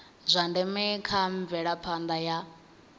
zwa ndeme kha mvelaphanda ya